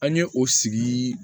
An ye o sigi